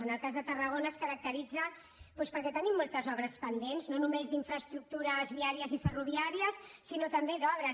en el cas de tarragona es caracteritza doncs perquè tenim moltes obres pendents no només d’infraestructures viàries i ferroviàries sinó també d’obres